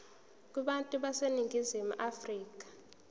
kubantu baseningizimu afrika